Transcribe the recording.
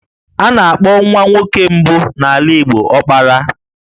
A na-akpọ nwa nwoke mbụ n'ala Igbo 'Ọkpara'.